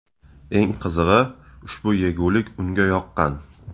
Eng qizig‘i, ushbu yegulik unga yoqqan.